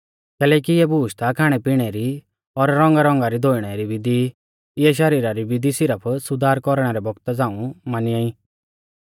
कैलैकि इऐ बुशै ता खाणैपिणै री और रौंगारौंगा री धोइणै री बिधी ई इऐ शरीरा री बिधी सिरफ सुधार कौरणै रै बौगता झ़ाऊं मानिया ई